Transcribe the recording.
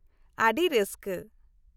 - ᱟᱹᱰᱤ ᱨᱟᱹᱥᱠᱟᱹ !